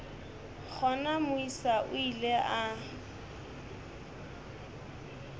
gona moisa o ile a